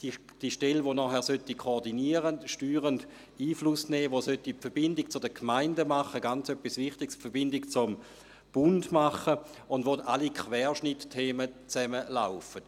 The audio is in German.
Es ist jene Stelle, die nachher koordinieren, steuernd Einfluss nehmen und die Verbindung zu den Gemeinden – etwas ganz Wichtiges – und zum Bund machen sollte, wo alle Querschnittsthemen zusammenlaufen.